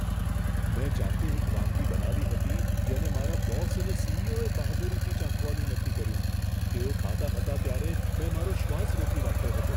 મેં જાતે એક વાનગી બનાવી હતી, જેને મારા બોસ અને સી.ઇ.ઓ.એ બહાદુરીથી ચાખવાનું નક્કી કર્યું. તેઓ ખાતા હતા ત્યારે મેં મારો શ્વાસ રોકી રાખ્યો હતો.